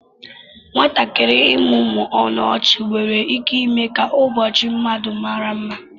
Nwatakịrị ịmụmụ ọnụ ọchị nwere ike ime ka ụbọchị mmadụ mara mma